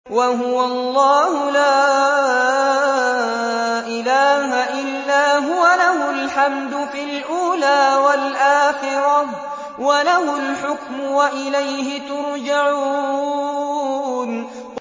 وَهُوَ اللَّهُ لَا إِلَٰهَ إِلَّا هُوَ ۖ لَهُ الْحَمْدُ فِي الْأُولَىٰ وَالْآخِرَةِ ۖ وَلَهُ الْحُكْمُ وَإِلَيْهِ تُرْجَعُونَ